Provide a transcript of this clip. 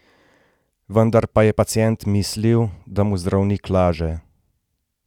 Vendar pa je pacient mislil, da mu zdravnik laže.